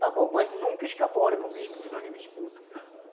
Está bom, mas nunca escapole para o bispo, senão ele me expulsa